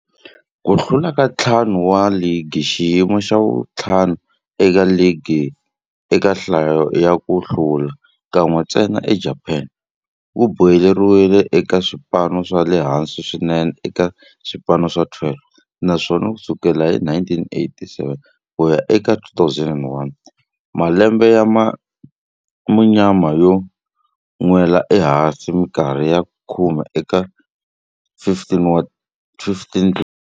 Ku hlula ka ntlhanu wa ligi, xiyimo xa vu-5 eka ligi eka nhlayo ya ku hlula, kan'we ntsena eJapani, ku boheleriwile eka swipano swa le hansi swinene eka swipano swa 12, naswona ku sukela hi 1987 ku ya eka 2001, malembe ya munyama yo nwela ehansi minkarhi ya khume eka 15 tinguva.